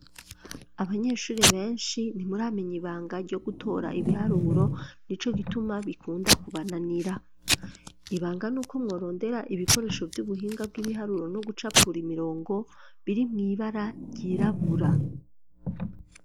Abanyeshure benshi, ntimuramenya ibanga, ryo gutora ibiharuro; nico gituma, bikunda kubananira; ibanga, ni uko mworondera, ibikoresho vy'ubuhinga, bw'ibiharuro, no gucapura imirongo, biri mw'ibara ryirabura.